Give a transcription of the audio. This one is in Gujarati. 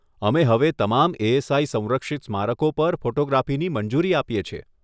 અમે હવે તમામ એએસઆઈ સંરક્ષિત સ્મારકો પર ફોટોગ્રાફીની મંજૂરી આપીએ છીએ.